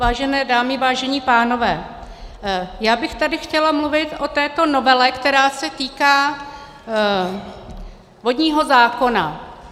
Vážené dámy, vážení pánové, já bych tady chtěla mluvit o této novele, která se týká vodního zákona.